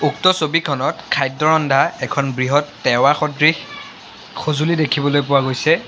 উক্ত ছবিখনত খাদ্য ৰন্ধা এখন বৃহৎ টেৱা সদৃশ সঁজুলি দেখিবলৈ পোৱা গৈছে।